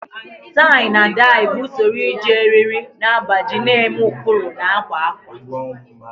Tai na dai bụ usoro iji eriri na agbaji na-eme ụkpụrụ na akwa ákwà.